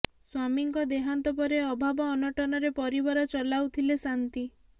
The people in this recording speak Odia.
ସ୍ୱାମୀଙ୍କ ଦେହାନ୍ତ ପରେ ଅଭାବ ଅନଟନରେ ପରବାର ଚଲାଉଥିଲେ ଶାନ୍ତି